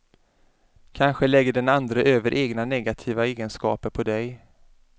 Kanske lägger den andre över egna negativa egenskaper på dig.